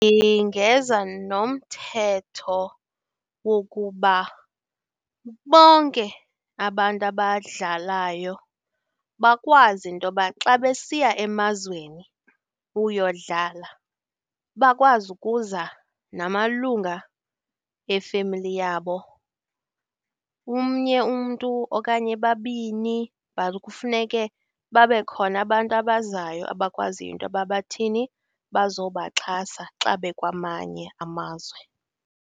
Ndingeza nomthetho wokuba bonke abantu abadlalayo bakwazi into yoba xa besiya emazweni kuyodlala bakwazi ukuza namalunga efemeli yabo. Umnye umntu, okanye babini but kufuneke babekhona abantu abazayo abakwaziyo into yokuba bathini, bazobaxhasa xa bekwamanye amazwe.